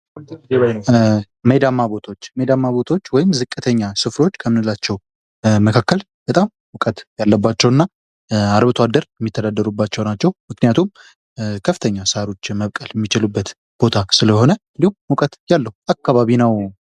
ሜዳማ ቦታዎች ሜዳማ ቦታዎችወይም ዝቅተኛ ስፍራዎች መካከል በጣም ሙቀት ያለባቸው እና አርብቶ አደር የሚተዳደርባቸው ናቸው። ምክንያቱም ከፍተኛ ሳሮች መብቀል የሚችሉበት ቦታ ስለሆነ እንዲሁም ሙቀት ያለው አካባቢ ነው።